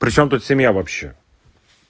причём тут семья вообще